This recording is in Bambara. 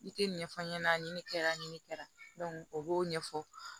I tɛ ɲɛfɔ n ɲɛna ɲini kɛra ɲini kɛra o b'o ɲɛfɔ